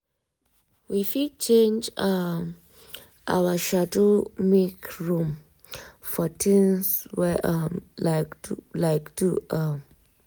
we fit change um our schedule make room for things we um like do um